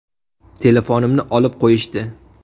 Telefonimni olib qo‘yishdi.